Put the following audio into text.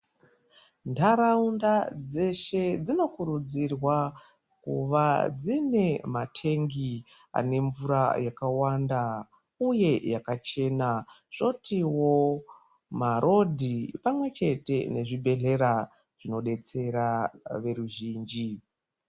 Ndaraunda dzeshe dzinokurudzirwa kuva dzine matengi anemvura yakawanda uye yakachena zvotiwo marodhi pamwechete nezvibhedhlera zvinodetsera veruzhinji.